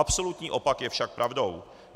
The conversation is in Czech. Absolutní opak je však pravdou.